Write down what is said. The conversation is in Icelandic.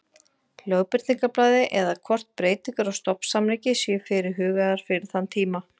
Lögbirtingablaði eða hvort breytingar á stofnsamningi séu fyrirhugaðar fyrir þann tíma.